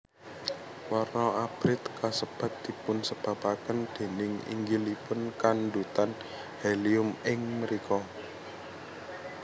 Warna abrit kasebat dipunsebabaken déning inggilipun kandhutan helium ing mrika